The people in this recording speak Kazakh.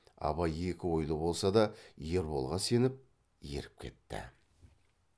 абай екі ойлы болса да ерболға сеніп еріп кетті